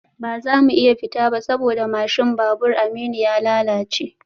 Ba za mu iya fita ba saboda mashin babur Aminu ya lalace